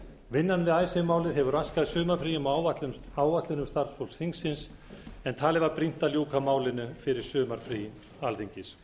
vinnan við málið hefur raskað sumarfríum og áætlunum starfsfólks þingsins en talið var brýnt að ljúka málinu fyrir sumarfrí alþingis